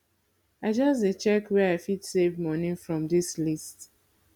i just dey check where i fit save moni from dis list